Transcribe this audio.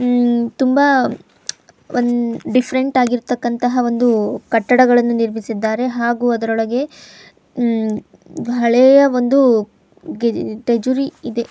ತುಂಬಾ ಒಂದು ಡಿಫ್ರೆಂಟಾಗಿರ್ತಕ್ಕಂತ ಒಂದು ಕಟ್ಟಡ ಗಳನ್ನು ನಿರ್ಮಿಸಿದ್ದಾರೆ ಹಾಗೂ ಅದರೊಳಗೆ ತುಂಬಾ ಹಳೆಯ ಒಂದು ಟಜರಿಯ ಇದೆ.